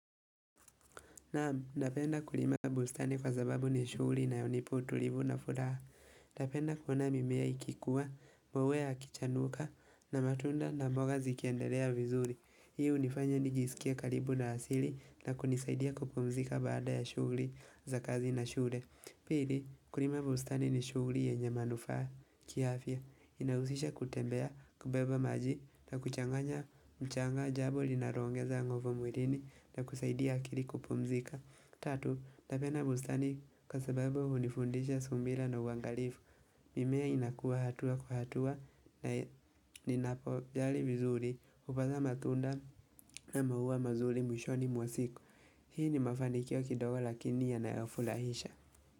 Naam, napenda kulima bustani kwa sababu ni shughuli inayonipa utulivu na furaha. Napenda kuona mimea ikikua, maua yakichanuka, na matunda na mboga zikiendelea vizuri. Hii hunifanya nijisikie karibu na asili na kunisaidia kupumzika baada ya shughuli za kazi na shule. Pili, kulima bustani ni shughuli yenye manufaa kiafya. Inahusisha kutembea kubeba maji na kuchanganya mchanga jambo linaloongeza nguvu mwilini na kusaidia akili kupumzika Tatu, napenda bustani kwa sababu hunifundisha subira na uangalifu mimea inakuwa hatua kwa hatua na ninapo jali vizuri hufanya matunda na maua mazuri mwishoni mwa siku Hii ni mafanikio kidogo lakini yanayofurahisha.